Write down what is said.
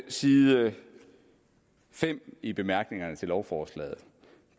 side fem i bemærkningerne til lovforslaget